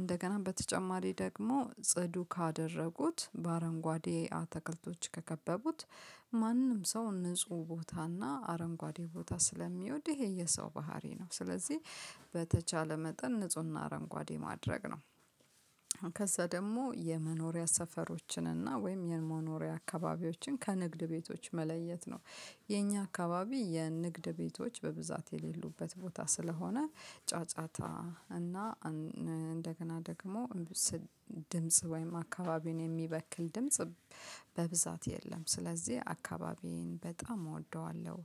እንደገና በተጨማሪ ደግሞ ጽዱ ካደረጉት በአረንጓዴ አተከልቶች ከከበቡት- ማንም ሰው ንጹህ ቦታና አረንጓዴ ቦታ ስለሚወድ ይሄ የሰው ባህሪ ነው። ስለዚህ:- በተቻለ መጠን ንፁህና አረንጓዴ ማድረግ ነው። ከዛ ደግሞ የመኖሪያ ሰፈሮችን እና ወይም የመኖሪያ አካባቢዎችን ከንግድ ቤቶች መለየት ነው። የኛ አካባቢ የንግድ ቤቶች በብዛት የሌሉበት ቦታ ስለሆነ ጫጫታ እና እንደገና ደግሞ ድምጽ ወይም አካባቢውን የሚበክል ድምጽ በብዛት የለም። ስለዚህ አካባቢዬን በጣም እወደዋለሁ።